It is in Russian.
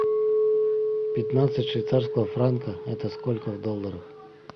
пятнадцать швейцарского франка это сколько в долларах